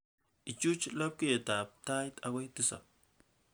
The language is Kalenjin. Ichuch labkayetab tait akoi tisab